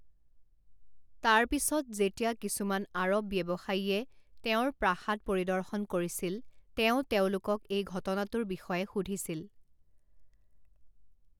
তাৰ পিছত, যেতিয়া কিছুমান আৰৱ ব্যৱসায়ীয়ে তেওঁৰ প্ৰাসাদ পৰিদৰ্শন কৰিছিল, তেওঁ তেওঁলোকক এই ঘটনাটোৰ বিষয়ে সুধিছিল।